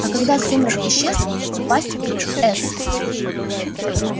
а когда сумрак исчез упасть в с